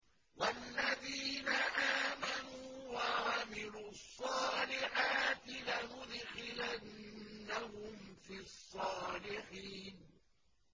وَالَّذِينَ آمَنُوا وَعَمِلُوا الصَّالِحَاتِ لَنُدْخِلَنَّهُمْ فِي الصَّالِحِينَ